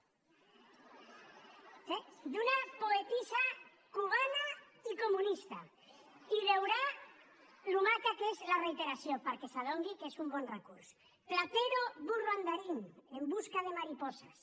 sí d’una poetessa cubana i comunista i veurà com de maca és la reiteració perquè s’adoni que és un bon recurs platero burro andarín en busca de mariposas